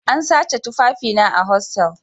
An sace tufafina a hostal